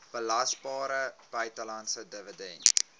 belasbare buitelandse dividend